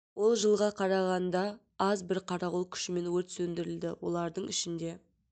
ол жылға қарағанда аз бір қарауыл күшімен өрт сөндірілді олардың ішінде